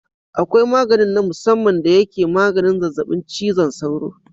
Akwai maganin na musamman da yake maganin zazzabi cizon sauro.